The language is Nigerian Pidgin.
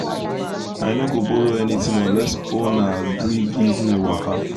i no go borrow anything unless owner gree give me waka.